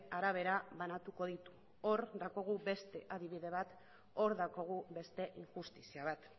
arabera banatuko ditu hor daukagu beste adibide bat hor daukagu beste injustizia bat